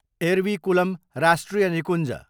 एरविकुलम राष्ट्रिय निकुञ्ज